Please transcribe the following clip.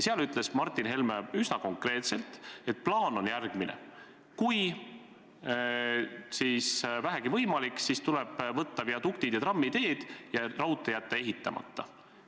Seal ütles Martin Helme üsna konkreetselt, et plaan on järgmine: kui vähegi võimalik, siis tuleb käsile võtta viaduktid ja trammiteed ja raudtee jätta ehitamata.